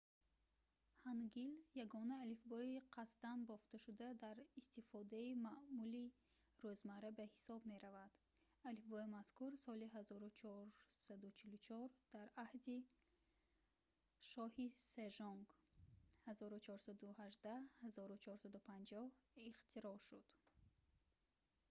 ҳангил ягона алифбои қасдан бофташуда дар истифодаи маъмули рӯзмарра ба ҳисоб меравад. алифбои мазкур соли 1444 дар аҳди шоҳи сежонг 1418-1450 ихтироъ шуд